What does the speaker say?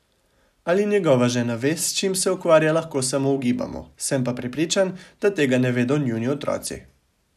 Ali njegova žena ve, s čim se ukvarja, lahko samo ugibamo, sem pa prepričan, da tega ne vedo njuni otroci.